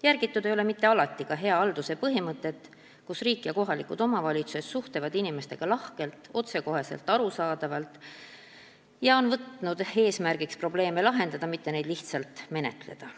Järgitud ei ole mitte alati ka hea halduse põhimõtet, mille kohaselt riik ja kohalikud omavalitsused suhtlevad inimestega lahkelt, otsekoheselt, arusaadavalt ja on võtnud eesmärgiks probleeme lahendada, mitte neid lihtsalt menetleda.